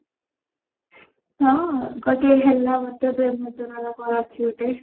ହଁ ଗୋଟିଏ ହେଲା ମତେ ପ୍ରେମ ଜର ନା କଣ ଅଛି ଗୋଟେ